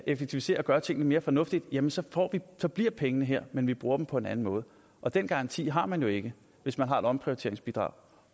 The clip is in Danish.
effektiviserer og gør tingene mere fornuftigt jamen så så bliver pengene her men vi bruger dem på en anden måde og den garanti har man jo ikke hvis man har et omprioriteringsbidrag